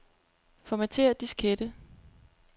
Formatér diskette.